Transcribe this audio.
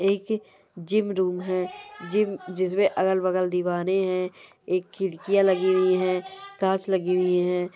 एक gym room है। Gym जिसमें अगल-बगल दीवारें हैं। एक खिड़कियां लगी हुई हैं कांच लगी हुई हैं।